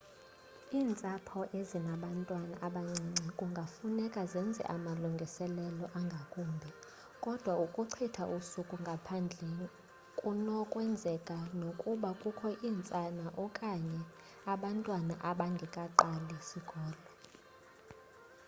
iintsapho ezinabantwana abancinane kungafuneka zenze amalungiselelo angakumbi kodwa ukuchitha usuku ngaphandle kunokwenzeka nokuba kukho iintsana okanye abantwana abangekaqali sikolo